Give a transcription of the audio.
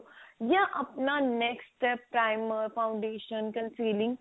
ਜਾਂ ਆਪਣਾ next step primer foundation consoling